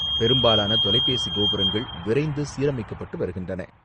பெரும்பாலான தொலைபேசி கோபுரங்கள் விரைந்து சீரமைக்கப்பட்டு வருகின்றன.